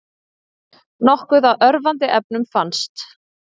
Nokkuð af örvandi efnum fannst